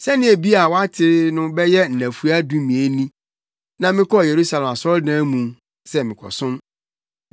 Sɛnea ebia woate no bɛyɛ nnafua dumien ni na mekɔɔ Yerusalem asɔredan mu sɛ merekɔsom.